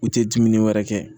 U tɛ dumuni wɛrɛ kɛ